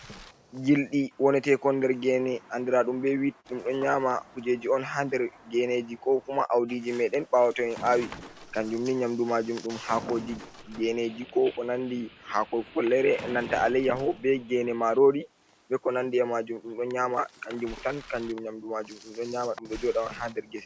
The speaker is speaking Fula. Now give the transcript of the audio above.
Gilɗi wonetekon nder gene andiraɗum be wit ɗum ɗo nƴama kujeji on ha nder geneji ko kuma audiji meɗen ɓawo tomin awi kanjum ni nyamdu maajum dum haakoji geneji ko ko nandi haako follere nanta aleyyaho be gene marori be ko nandi e majum dum do nyama kanjum tan kanjum nyamdu majum ɗum ɗo nyama ɗum ɗo joda on ha nder gese.